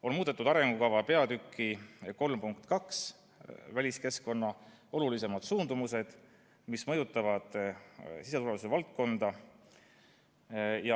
On muudetud arengukava peatüki 3 punkti 3.2 "Väliskeskkonna olulisemad suundumused, mis mõjutavad siseturvalisuse valdkonda".